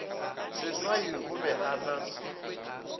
seswai o be a na